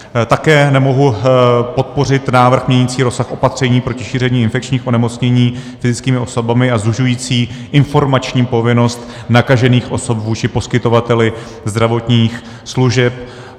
Také nemohu podpořit návrh měnící rozsah opatření proti šíření infekčních onemocnění fyzickými osobami a zužující informační povinnost nakažených osob vůči poskytovateli zdravotních služeb.